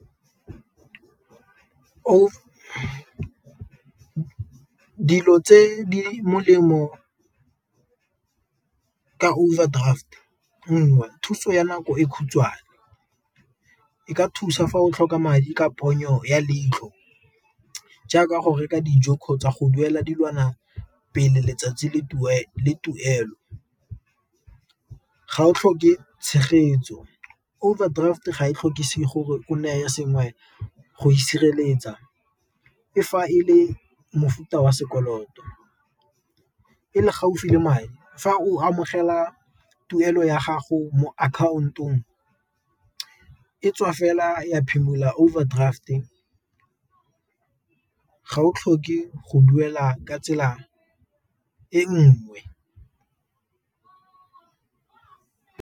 dilo tse di molemo ka overdraft nngwe thuso ya nako e khutshwane, e ka thusa fa o tlhoka madi ka ponyo ya leitlho jaaka go reka dijo kgotsa go duela dilwana pele letsatsi le tuelo ga o tlhoke tshegetso. Overdraft ga e tlhokisi gore o nne ya sengwe go e sireletsa e fa e le mofuta wa sekoloto, e le gaufi le madi fa o amogela tuelo ya gago mo account-ong e tswa fela ya phimola overdraft-e ga o tlhoke go duela ka tsela e nngwe.